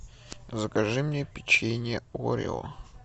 закажи мне печенье орео